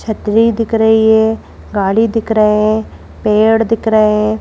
छतरी दिख रही है गाड़ी दिख रहे हैं पेड़ दिख रहे हैं।